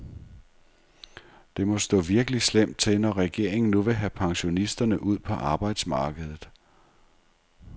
Det må stå virkelig slemt til, når regeringen nu vil have pensionisterne ud på arbejdsmarkedet.